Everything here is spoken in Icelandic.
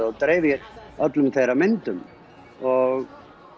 og dreifir öllum þeirra myndum og